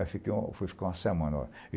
Aí fiquei fui ficar uma semana.